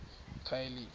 ekhayelitsha